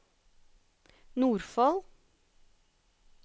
Nordfold